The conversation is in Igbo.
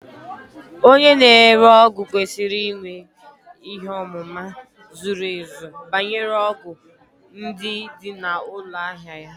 Onye na-ere ọgwụ kwesịrị inwe ihe ọmụma zuru ezu banyere ọgwụ ndị dị na ụlọ ahịa ya